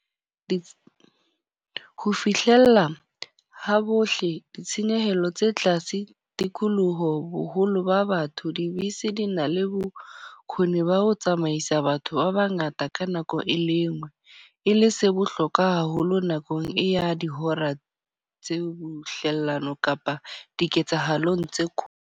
ho fihlella ha bohle, ditshenyehelo tse tlase, tikoloho, boholo ba batho. Dibese di na le bokhoni ba ho tsamaisa batho ba bangata ka nako e le engwe. E le se bohlokwa haholo nakong e ya dihora tse bohlelano kapa diketsahalong tse ko.